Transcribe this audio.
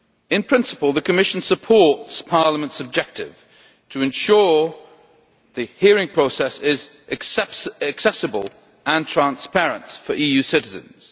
In principle, the Commission supports Parliament's objective to ensure that the hearing process is accessible and transparent for EU citizens.